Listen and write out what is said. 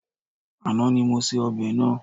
Àná ni mo se ọbẹ̀ náà.